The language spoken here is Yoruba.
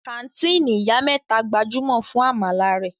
Kàńtìnì Ìyá mẹ́ta gbajúmọ̀ fún àmàlà rẹ̀.